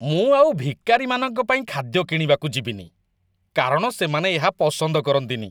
ମୁଁ ଆଉ ଭିକାରିମାନଙ୍କ ପାଇଁ ଖାଦ୍ୟ କିଣିବାକୁ ଯିବିନି, କାରଣ ସେମାନେ ଏହା ପସନ୍ଦ କରନ୍ତିନି।